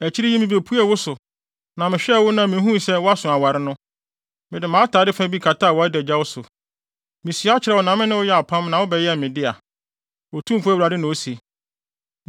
“ ‘Akyiri yi mibepuee wo so, na mehwɛɛ wo na mihuu sɛ woaso aware no, mede mʼatade fa bi kataa wʼadagyaw so. Misua kyerɛɛ wo na me ne wo yɛɛ apam na wobɛyɛɛ me dea, Otumfo Awurade na ose.